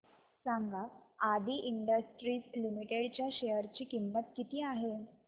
सांगा Adi industries limited च्या share ची किंमत किती आहे